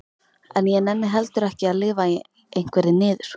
En ég nenni heldur ekki að lifa í einhverri niður